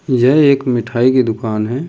यह एक मिठाई की दुकान है।